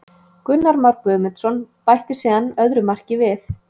Gunnar Már Guðmundsson bætti síðan öðru marki við.